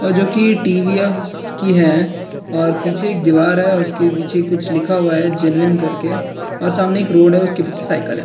जो की टी.वी.एस. की है और पीछे एक दीवार है उसके पीछे कुछ लिखा हुआ है करके सामने एक रोड है उसके पीछे एक साइकल है।